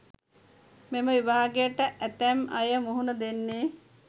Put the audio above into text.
මෙම විභාගයට ඇතැම් අය මුහුණ දෙන්නෙ.